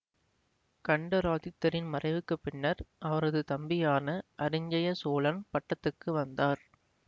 கண்டராதித்தரின் மறைவுக்கு பின்னர் அவரது தம்பியான அரிஞ்சய சோழன் பட்டத்துக்கு வந்தார்